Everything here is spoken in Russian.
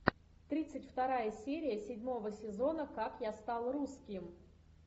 тридцать вторая серия седьмого сезона как я стал русским